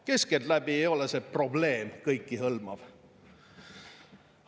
Keskeltläbi ei ole see probleem kõikehõlmav.